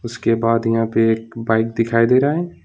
उसके बाद यहां पे एक बाइक दिखाई दे रहा है।